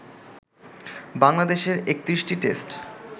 বাংলাদেশের ৩১টি টেস্ট